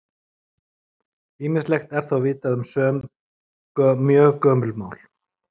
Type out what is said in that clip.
Ýmislegt er þó vitað um sum mjög gömul mál.